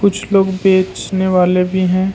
कुछ लोग बेचने वाले भी हैं।